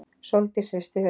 Sóldís hristi höfuðið.